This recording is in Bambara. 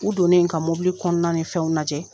U don ne ka mɔbili kɔnɔna ni fɛnw lajɛ.